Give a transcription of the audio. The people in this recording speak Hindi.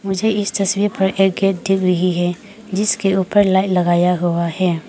मुझे इस तस्वीर एक गेट दिख रही है जिसके ऊपर लाइट लगाया हुआ है।